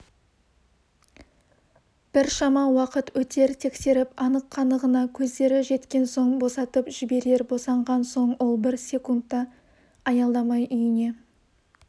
біршама уақыт өтер тексеріп анық-қанығына көздері жеткен соң босатып жіберер босанған соң ол бір секунд та аялдамай үйіне